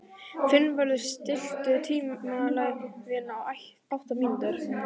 Finnvarður, stilltu tímamælinn á áttatíu mínútur.